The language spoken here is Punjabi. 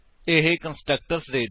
ਅਸੀ ਇੱਥੇ ਸਿੰਟੈਕਸ ਵੇਖ ਸੱਕਦੇ ਹਾਂ